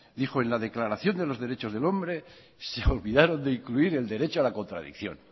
dijo en la declaración de los derechos del hombre se olvidaron de incluir el derecho a la contradicción